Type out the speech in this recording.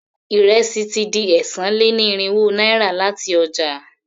Ìrẹsì ti di ẹ́sàn-án-lé-ní-irínwó náírà láti ọjà.